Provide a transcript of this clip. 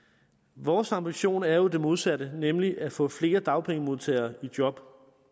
vores ambition er jo det modsatte nemlig at få flere dagpengemodtagere i job